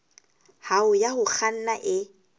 hao ya ho kganna e